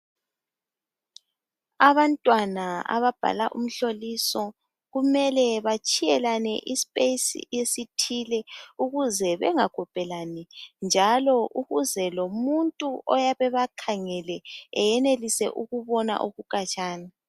Abantwana ababhala umhloliso kumele batshiyelane ispace esithile ,ukuze bengakhophelani .Njalo ukuze lomuntu oyabe bakhangele ayenelise ukubona okukhatshana.